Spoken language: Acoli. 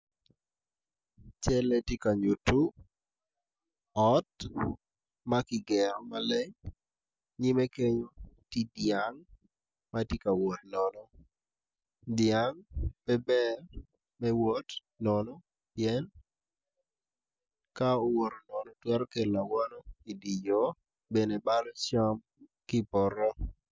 Calle tye ka nyuto ot ma kigero maleng nam macol tar coltar doge bor, atudo man tye ka wakwan i pii mandit atudo ni dong owakngo ook i ka nget yat moma otwi atiya i dye pii man.